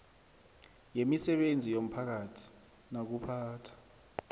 wemisebenzi yomphakathi nokuphatha